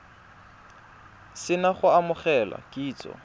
se na go amogela kitsiso